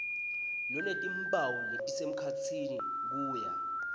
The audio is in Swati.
lonetimphawu letisemkhatsini kuya